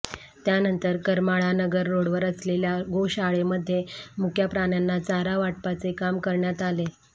त्यानंतर करमाळा नगर रोडवर असलेल्या गोशाळेमध्ये मुक्या प्राण्यांना चारा वाटपाचे काम करण्यात आले